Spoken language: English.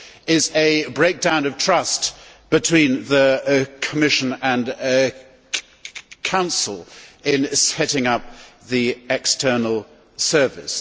is a breakdown of trust between the Commission and Council in setting up the External Service.